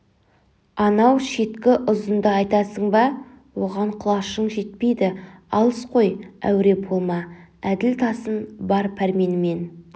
анау шеткі ұзынды айтасың ба оған құлашың жетпейді алыс қой әуре болма әділ тасын бар пәрменімен